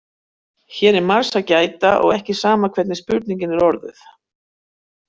Hér er margs að gæta og ekki sama hvernig spurningin er orðuð.